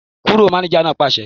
Kúrò! Mánéjà náà pàṣẹ